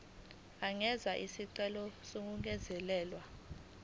angenza isicelo sokungezelelwa